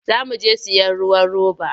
Za mu je sayen ruwan roba.